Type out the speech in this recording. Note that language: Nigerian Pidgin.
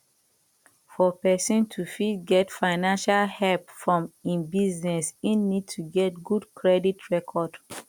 for person to fit get financial help for im business im need to get good credit record